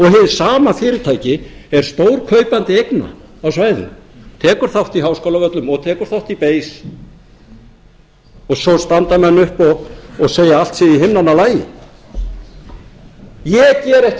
sama fyrirtæki er stórkaupandi eigna á svæðinu tekur þátt í háskólavöllum og tekur þátt í bein og svo standa menn upp og segja að allt sé í himnanna lagi ég geri ekki